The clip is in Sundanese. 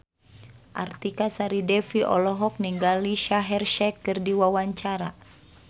Artika Sari Devi olohok ningali Shaheer Sheikh keur diwawancara